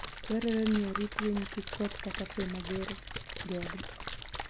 Dwarore ni orit winy kik koth kata pe mager chogi.